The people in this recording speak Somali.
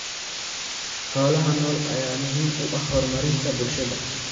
Xoolaha nool ayaa muhiim u ah horumarinta bulshada.